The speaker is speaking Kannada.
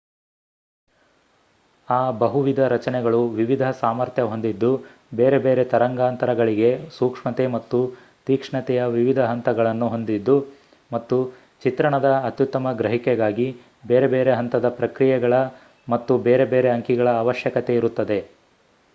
ಆ ಬಹುವಿಧ ರಚನೆಗಳು ವಿವಿಧ ಸಾಮರ್ಥ್ಯ ಹೊಂದಿದ್ದು ಬೇರೆ ಬೇರೆ ತರಂಗಾಂತರಂಗಗಳಿಗೆ ಸೂಕ್ಷ್ಮತೆ ಮತ್ತು ತೀಕ್ಷ್ಣತೆಯ ವಿವಿಧ ಹಂತಗಳನ್ನು ಹೊಂದಿದ್ದು ಮತ್ತು ಚಿತ್ರಣದ ಅತ್ಯುತ್ತಮ ಗ್ರಹಿಕೆಗಾಗಿ ಬೇರೆ ಬೇರೆ ಹಂತದ ಪ್ರಕ್ರಿಯೆಗಳ ಮತ್ತು ಬೇರೆ ಬೇರೆ ಅಂಕಿಗಳ ಅವಶ್ಯಕತೆಯಿರುತ್ತದೆ